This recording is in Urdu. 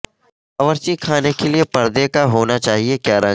باورچی خانے کے لئے پردے کا ہونا چاہئے کیا رنگ